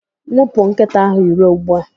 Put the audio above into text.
Nwụpụ nkịta ahụ iro ugbu a!